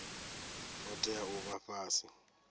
ngo tea u vha fhasi